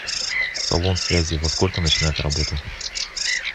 салон связи во сколько начинает работу